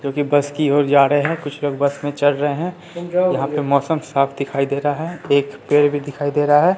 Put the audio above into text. जो कि बस की ओर जा रहे हैं कुछ लोग बस में चढ़ रहे हैं यहां पे मौसम साफ दिखाई दे रहा है एक पेड़ भी दिखाई दे रहा है।